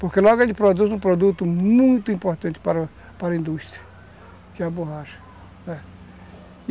Porque logo ele produz um produto muito importante para para a indústria, que é a borracha, é.